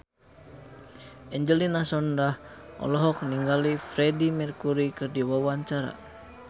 Angelina Sondakh olohok ningali Freedie Mercury keur diwawancara